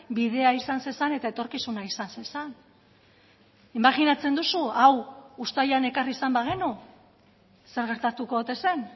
bidea izan zezan eta etorkizuna izan zezan imajinatzen duzu hau uztailean ekarri izan bagenu zer gertatuko ote zen